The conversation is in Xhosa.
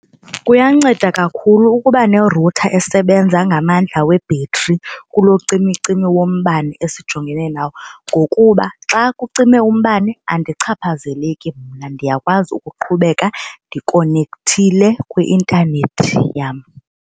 Kuyanceda kakhulu ukuba ne-router esebenza ngamandla webhetri kulocimicimi wombane esijongene nayo ngokuba xa kucime umbane andichaphazeleki mna ndiyakwazi ukuqhubeka ndikonekthile kwi-intanethi yam.